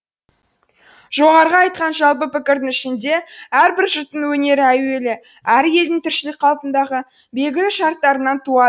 жоғарғы айтқан жалпы пікірдің ішінде әрбір жұрттың өнері әуелі әр елдің тіршілік қалпындағы белгілі шарттарынан